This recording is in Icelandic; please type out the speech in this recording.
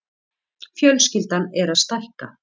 Fjölskyldan er að stækka.